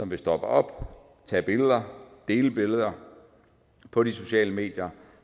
vil stoppe op tage billeder og dele billeder på de sociale medier